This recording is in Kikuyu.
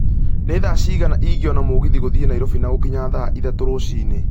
nĩ thaa cigana ingĩona mũgithi gũthiĩ nairobi na gũkinya thaa ithatũ rũcinĩ